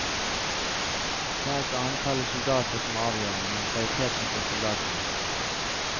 Det er ikke antallet soldater som er avgjørende, men kvaliteten på soldatene.